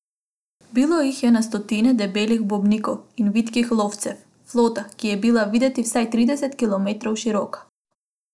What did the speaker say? Bilo jih je na stotine, debelih bombnikov in vitkih lovcev, flota, ki je bila videti vsaj trideset kilometrov široka.